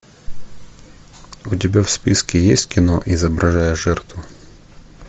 у тебя в списке есть кино изображая жертву